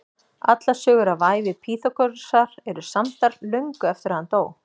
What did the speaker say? Allar sögur af ævi Pýþagórasar eru samdar löngu eftir að hann dó.